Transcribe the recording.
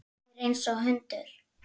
Góður einsog hundur.